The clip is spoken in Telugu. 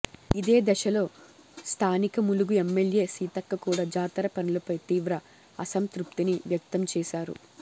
ఇదే దశలో స్థానిక ములుగు ఎమ్మెల్యే సీతక్క కూడా జాతర పనులపై తీవ్ర అసంతృప్తిని వ్యక్తం చేశారు